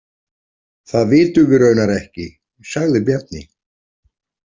Það vitum við raunar ekki, sagði Bjarni.